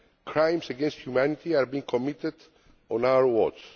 Crimes against humanity are being committed on our watch.